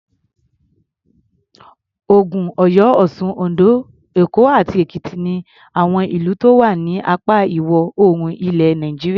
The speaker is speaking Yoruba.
Ògùn, Ọ̀yọ́, Ọ̀sun, Oǹdó, Èkó àti Èkìtì ni àwọn ìlú tó wà ní apá Ìwọ̀-oòrùn ilẹ̀ Nàìjíríà.